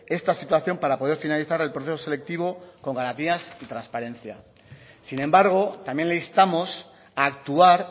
esta situación para poder finalizar el proceso selectivo con garantías y transparencia sin embargo también le instamos a actuar